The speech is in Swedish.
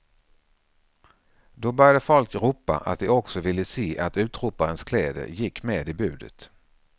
Då började folk ropa att de också ville se att utroparens kläder gick med i budet.